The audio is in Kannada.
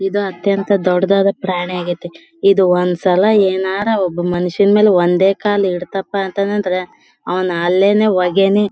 ಇದು ಅತ್ಯಂತ ದೊಡ್ಡದಾ ಪ್ರಾಣಿ ಯಾಗಿತ್ತೇ ಒಂದ್ ಒಂದ್ಸಲ ಏನಾರಾ ಒಬ್ಬ ಮನುಷ್ಯನ್ ಮೆಲ್ ಒಂದೇ ಕಾಲ್ ಇಡ್ತಪ್ಪ ಅಂತ ಅಂದ್ರೆ ಅವ್ನ್ ಅಲ್ಲೇನೇ ಹೊಗೆನೆ.